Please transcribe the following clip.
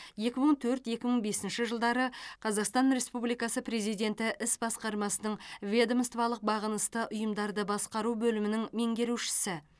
екі мың төрт екі мың бесінші жылдары қазақстан республикасы президенті іс басқармасының ведомстволық бағынысты ұйымдарды басқару бөлімінің меңгерушісі